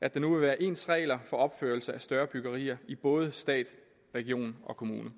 at der nu vil være ens regler for opførelse af større byggerier i både stat region og kommune